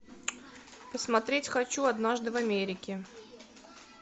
посмотреть хочу однажды в америке